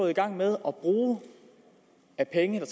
i gang med at bruge af penge der